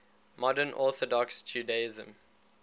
modern orthodox judaism